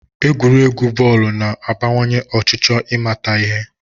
Egwuregwu bọọlụ na-abawanye ọchịchọ ịmata ihe